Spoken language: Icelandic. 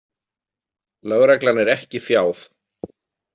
Lögreglan er ekki fjáð.